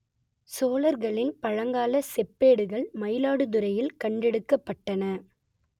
சோழர்களின் பழங்கால செப்பேடுகள் மயிலாடுதுறையில் கண்டெடுக்கப்பட்டன